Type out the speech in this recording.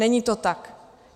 Není to tak.